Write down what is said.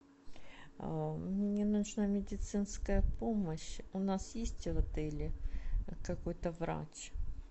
мне нужна медицинская помощь у нас есть в отеле какой то врач